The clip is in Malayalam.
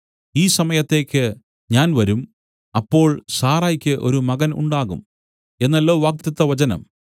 ഈ സമയത്തേക്ക് ഞാൻ വരും അപ്പോൾ സാറായ്ക്കു ഒരു മകൻ ഉണ്ടാകും എന്നല്ലോ വാഗ്ദത്തവചനം